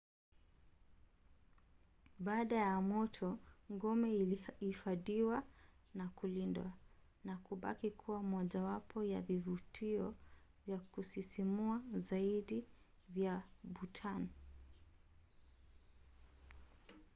baada ya moto ngome ilihifadhiwa na kulindwa na kubaki kuwa mojawapo ya vivutio vya kusisimua zaidi vya bhutan